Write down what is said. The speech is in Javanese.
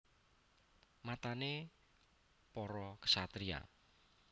Matané para ksatriya